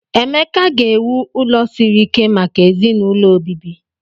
Emeka ga-ewu ụlọ siri ike maka ezinaụlọ obibi.